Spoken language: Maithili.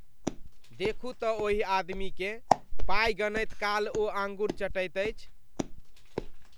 देखू तँ ओहि आदमीकेँ। पाई गनैत काल ओ आँगुर चटैत अछि।